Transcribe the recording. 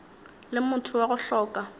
le motho wa go hloka